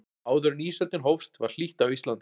áður en ísöldin hófst var hlýtt á íslandi